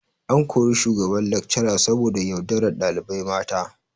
An kori shugaban lecturer saboda yaudarar dalibai mata